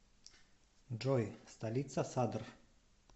джой столица садр